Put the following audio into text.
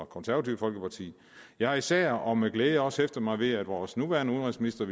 konservative folkeparti jeg har især og med glæde også hæftet mig ved at vores nuværende udenrigsminister